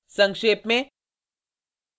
संक्षेप में